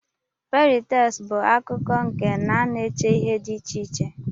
Fary tels bu akkụkọ nke na ana eche ihe di iche iche.